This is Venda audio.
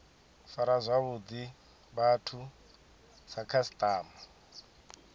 fara zwavhuḓi vhathu sa khasiṱama